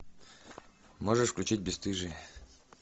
можешь включить бесстыжие